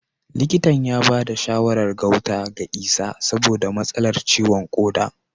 Likitan ya bada shawarar gauta ga Isah saboda matsalar ciwon koda